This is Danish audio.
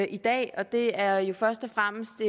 i dag og det er jo først og fremmest